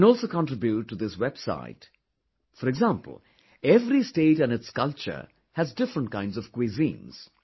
You can also contribute to this website, for example every state and its culture has different kinds of cuisines